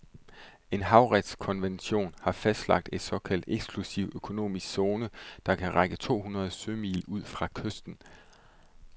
En havretskonvention har fastlagt en såkaldt eksklusiv økonomisk zone, der kan række to hundrede sømil ud fra kysten.